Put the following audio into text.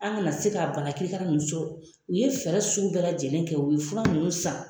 An kana se ka banakirikara ninnu sɔrɔ u ye fɛɛrɛ sugu bɛɛ lajɛlen kɛ u ye fura ninnu san.